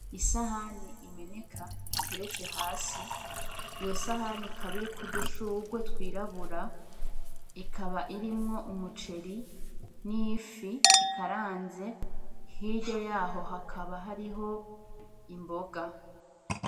Isahani imeneka iteretse hasi, iyo sahani ikaba iriko udushurwe twirabura ikaba irimwo umuceri n'ifi ikaranze hirya yaho hakaba hariho imboga.